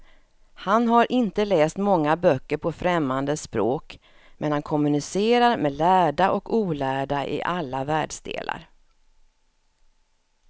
Han har inte läst många böcker på främmande språk, men han kommunicerar med lärda och olärda i alla världsdelar.